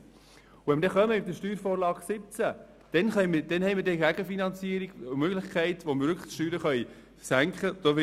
Wenn wir dann mit der SV17 kommen, dann haben wir eine Gegenfinanzierung und damit eine Möglichkeit, wo wir die Steuern wirklich senken können.